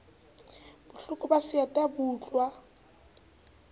bohloko ba seeta bo utluwa